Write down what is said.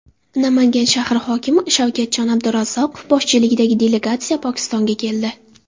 Namangan shahri hokimi Shavkatjon Abdurazzoqov boshchiligidagi delegatsiya Pokistonga keldi.